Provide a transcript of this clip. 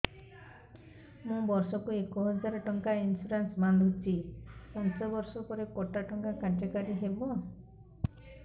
ମୁ ବର୍ଷ କୁ ଏକ ହଜାରେ ଟଙ୍କା ଇନ୍ସୁରେନ୍ସ ବାନ୍ଧୁଛି ପାଞ୍ଚ ବର୍ଷ ପରେ କଟା ଟଙ୍କା କାର୍ଯ୍ୟ କାରି ହେବ